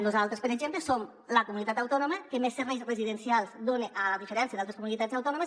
nosaltres per exemple som la comunitat autònoma que més serveis residencials dona a diferència d’altres comunitats autònomes